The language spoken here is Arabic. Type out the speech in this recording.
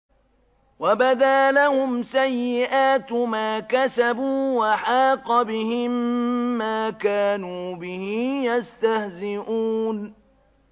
وَبَدَا لَهُمْ سَيِّئَاتُ مَا كَسَبُوا وَحَاقَ بِهِم مَّا كَانُوا بِهِ يَسْتَهْزِئُونَ